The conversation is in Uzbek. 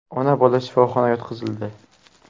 Ona va bola shifoxona yotqizildi.